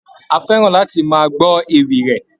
A fẹ́ràn láti máa gbọ́ ewì rẹ̀.